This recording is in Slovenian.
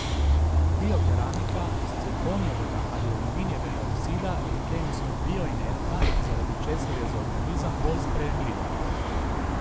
Biokeramika iz cirkonijevega ali aluminijevega oksida je kemijsko bioinertna, zaradi česar je za organizem bolj sprejemljiva.